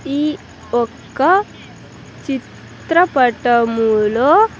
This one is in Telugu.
ఈ ఒక్క చి త్ర పటములో--